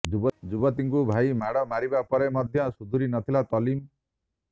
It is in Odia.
ଯୁବତୀଙ୍କୁ ଭାଇ ମାଡ଼ ମାରିବା ପରେ ମଧ୍ୟ ସୁଧୁରି ନଥିଲା ତଲିମ